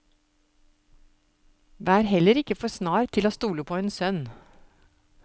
Vær heller ikke for snar til å stole på en sønn.